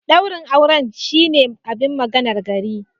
Daurin auren shine abin maganar gari.